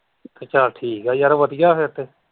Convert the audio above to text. ਚੱਲ ਠੀਕ ਆ ਯਾਰ ਵਧੀਆ ਫਿਰ ਤੇ।